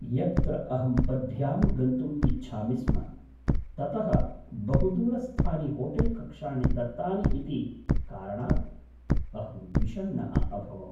यत्र अहं पद्भ्यां गन्तुम् इच्छामि स्म, ततः बहुदूरस्थानि होटेल्कक्षाणि दत्तानि इति कारणात् अहं विषण्णः अभवम्।